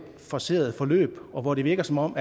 forceret forløb og hvor det virker som om